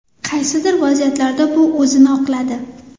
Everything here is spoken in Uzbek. Qaysidir vaziyatlarda bu o‘zini oqladi.